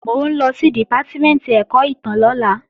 Mò ń lọ sí Dìpátímẹ̀ntì ẹ̀kọ́ ìtàn lọ́la